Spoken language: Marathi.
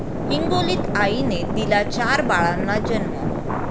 हिंगोलीत आईने दिला चार बाळांना जन्म